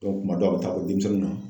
kuma dɔw a be taa bɔ denmisɛnninw na